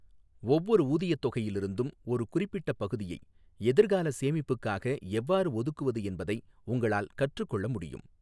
ஒவ்வொரு ஊதியத் தொகையிலிருந்தும் ஒரு குறிப்பிட்ட பகுதியை எதிர்கால சேமிப்புக்காக எவ்வாறு ஒதுக்குவது என்பதை உங்களால் கற்றுக் கொள்ள முடியும்.